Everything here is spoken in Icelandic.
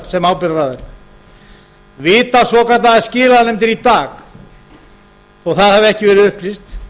sem ábyrgðaraðila vita svokallaðar skilanefndir í dag þó það hafi ekki verið upplýst